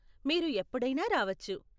మీరు ఎప్పుడైనా రావచ్చు.